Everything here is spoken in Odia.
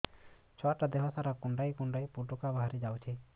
ଛୁଆ ଟା ଦେହ ସାରା କୁଣ୍ଡାଇ କୁଣ୍ଡାଇ ପୁଟୁକା ବାହାରି ଯାଉଛି